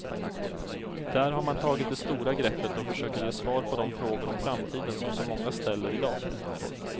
Där har man tagit det stora greppet och försöker ge svar på de frågor om framtiden som så många ställer i dag.